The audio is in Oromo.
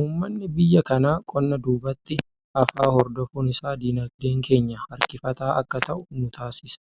Uummanni biyya kanaa qonna duubatti hafaa hordofuun isaa diinagdeen keenya harkifataa akka ta'u nu taasisa.